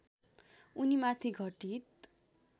उनीमाथि घटित